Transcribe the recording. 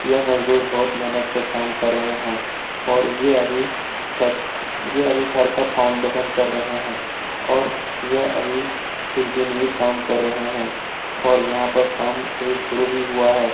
यह मजदूर बहुत मेहनत से काम कर रहे है और ये अभी छत ये अभी घर का फाउंडेशन कर रहे है और यह अभी कुछ दिन ये काम कर रहे है और यहाँ पर काम अभी शरू ही हुआ है।